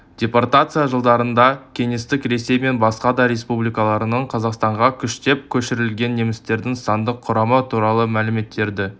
депортация жылдарында кеңестік ресей мен басқа да республикаларынан қазақстанға күштеп көшірілген немістердің сандық құрамы туралы мәліметтерді